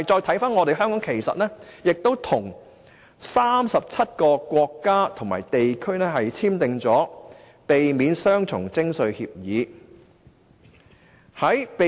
此外，香港已跟37個國家及地區簽訂避免雙重徵稅協議。